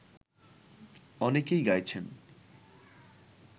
অনেকেই গাইছেন